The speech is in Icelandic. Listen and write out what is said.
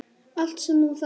Allt sem þú þarft.